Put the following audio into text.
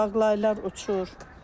Ağlaylar uçur.